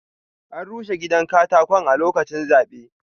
An rushe gidan katakon a lokaci zaɓe.